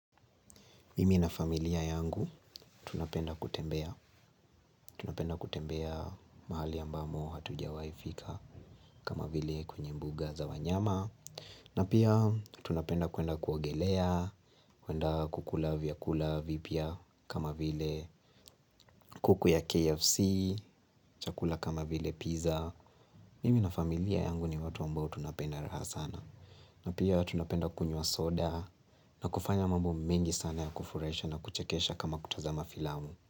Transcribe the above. Mimi na familia yangu tunapenda kutembea, tunapenda kutembea mahali ambamo hatujawahi fika kama vile kwenye mbuga za wanyama. Na pia tunapenda kuenda kuogelea, kuenda kukula vyakula vipya kama vile kuku ya KFC, chakula kama vile pizza. Mimi na familia yangu ni watu ambao tunapenda raha sana. Na pia tunapenda kunywa soda na kufanya mambo mengi sana ya kufurahisha na kuchekesha kama kutazama filamu.